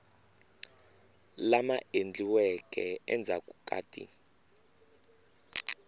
lama endliweke endzhaku ka ti